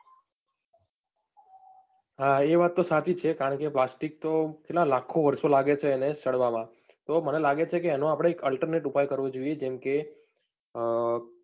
હા એ વાત તો સાચી છે, કારણકે plastic તો કેટલા લખો વારસો લાગે છે એને સડવામાં, તો મને લાગે છે કે એનો આપણે alternate ઉપાય કરવો જોઈએ, જેમકે,